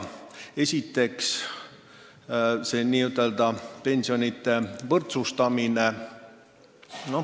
Esiteks see pensionide võrdsustamine.